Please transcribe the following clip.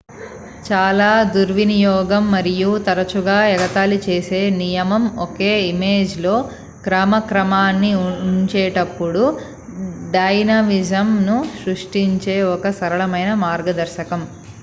చాలా దుర్వినియోగం మరియు తరచుగా-ఎగతాళి చేసే నియమం ఒక ఇమేజ్ లో క్రమక్రమాన్ని ఉంచేటప్పుడు డైనమిజం ను సృష్టించే ఒక సరళమైన మార్గదర్శకం